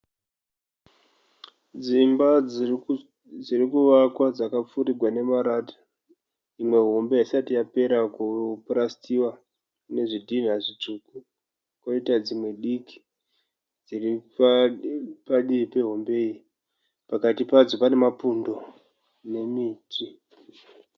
Dzimba dzirikuvakwa dzakapfirigwa nemarata. Imwe hombe haisati yapera kupurasitiwa ine zvidhina zvitsvuku. Koita dzimwe diki dziri padivi pehombe iyi. Pakati padzo pane mapundo nemiti.